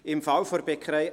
Im Fall der Bäckerei